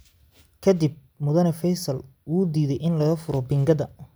Ka dib, Mudane feisal wuu diiday in lagafuro pingadaa